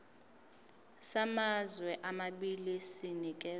samazwe amabili sinikezwa